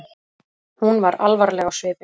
Hún var alvarleg á svipinn.